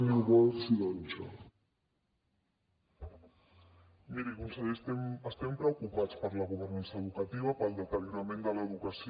miri conseller estem preocupats per la governança educativa pel deteriorament de l’educació